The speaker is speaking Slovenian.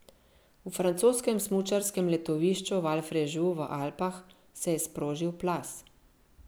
V francoskem smučarskem letovišču Valfrejus v Alpah se je sprožil plaz.